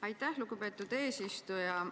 Aitäh, lugupeetud eesistuja!